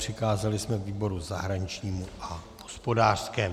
Přikázali jsme výboru zahraničnímu a hospodářskému.